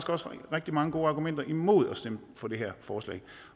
også rigtig mange gode argumenter imod at stemme for det her forslag